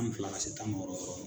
ni fila ka se tan ni wɔɔrɔ wɔɔrɔ